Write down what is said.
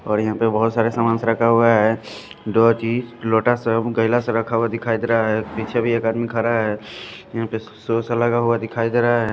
और यहां पर बहुत सारे सामान रखा हुआ है दिखाई दे रहा है पीछे भी एक आदमी खड़ा है ।